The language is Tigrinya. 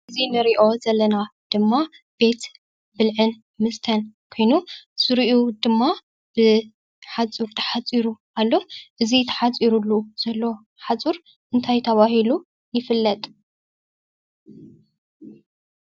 እዚ እንርእዮ ዘለና ድማ ቤት ብልዕን መስተን ኮይኑ ዝርእዩ ድማ ብሓፁር ተሓፂሩ ኣሎ:: እዚ ተሓፂሩሉ ዘሎ ሓፁር እንታይ ተባሂሉ ይፍለጥ?